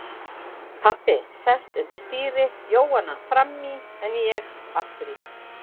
Pabbi sest undir stýri, Jóhann fram í en ég aftur í.